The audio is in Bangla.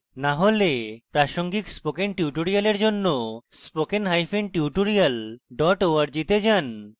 না হলে প্রাসঙ্গিক spoken tutorials জন্য spoken hyphen tutorial dot org তে যান